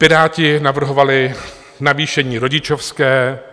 Piráti navrhovali navýšení rodičovské.